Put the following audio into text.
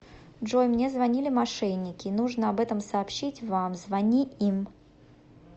джой мне звонили мошенники нужно об этом сообщить вам звони им